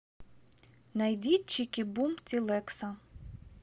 найди чики бум тилэкса